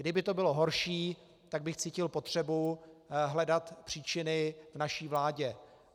Kdyby to bylo horší, tak bych cítil potřebu hledat příčiny v naší vládě.